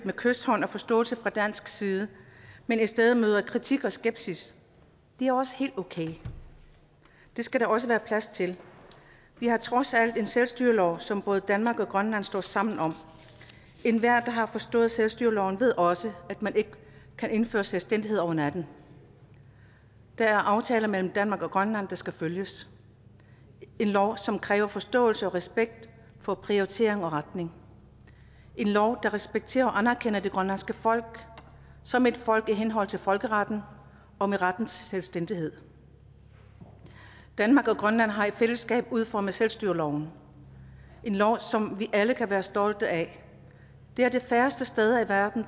med kyshånd og forståelse af fra dansk side men i stedet møder kritik og skepsis det er også helt okay det skal der også være plads til vi har trods alt en selvstyrelov som både danmark og grønland står sammen om enhver der har forstået selvstyreloven ved også at man ikke kan indføre selvstændighed over natten der er aftaler mellem danmark og grønland der skal følges en lov som kræver forståelse og respekt for prioritering og retning en lov der respekterer og anerkender det grønlandske folk som et folk i henhold til folkeretten og med retten til selvstændighed danmark og grønland har i fællesskab udformet selvstyreloven en lov som vi alle kan være stolte af det er de færreste steder i verden